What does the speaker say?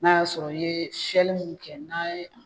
N'a y'a sɔrɔ i ye sɛli mun kɛ n'a' ye